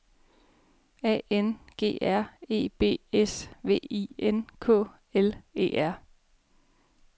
A N G R E B S V I N K L E R